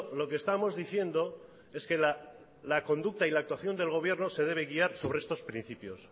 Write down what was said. lo que estamos diciendo es que la conducta y la actuación del gobierno se debe guiar sobre estos principios